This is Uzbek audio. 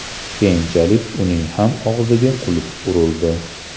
Keyinchalik uning ham og‘ziga qulf urildi.